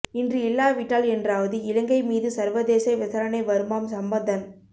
இன்று இல்லாவிட்டால் என்றாவது இலங்கை மீது சர்வதேச விசாரணை வருமாம் சம்பந்தன்